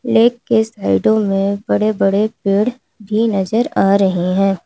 Lake के साइडो में बड़े बड़े पेड़ भी नजर आ रहे हैं।